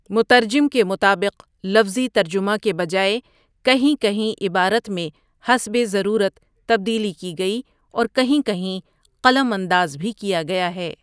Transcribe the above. مترجم کے مطابق لفظی ترجمہ کے بہ جائے کہیں کہیں عبارت میں حسبِ ضرورت تبدیلی کی گئی اورکہیں کہیں قلم انداز بھی کیا گیا ہے ۔